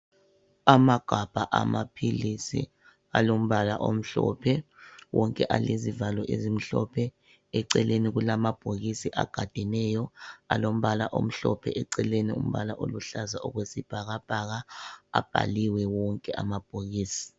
Amagabha amaphilisi alombala omhlophe wonke alezivalo ezimhlophe, eceleni kulamabhokisi agadeneyo alombala omhlophe eceleni umbala oluhlaza okwesibhakabhaka abhaliwe wonke amabhokisi.